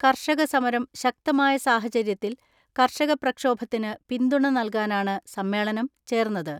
കർഷക സമരം ശക്തമായ സാഹചര്യത്തിൽ കർഷക പ്രക്ഷോഭത്തിന് പിന്തുണ നൽകാനാണ് സമ്മേളനം ചേർന്നത്.